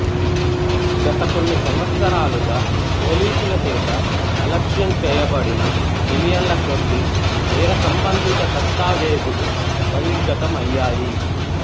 గత కొన్ని సంవత్సరాలుగా పోలీసులచేత అలక్ష్యంచేయబడిన మిలియన్లకొద్దీ నేరసంబంధిత దస్తావేజులు బహిర్గతం అయ్యాయి